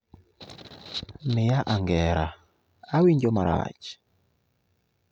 Miya angera, awinjo marach